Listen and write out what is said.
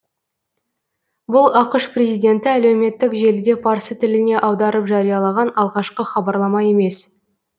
бұл ақш президенті әлеуметтік желіде парсы тіліне аударып жариялаған алғашқы хабарлама емес